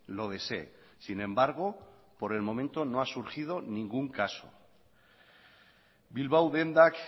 lo desee sin embargo por el momento no ha surgido ningún caso bilbao dendak